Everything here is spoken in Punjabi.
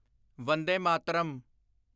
ਵੰਦੇ ਮਾਤਰਮ